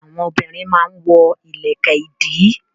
Àwọn obìnrin a máa wọ ìlẹ̀kẹ̀ ìdí